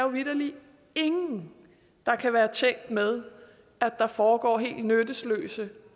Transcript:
vitterlig ingen kan være tjent med at der foregår helt nyttesløse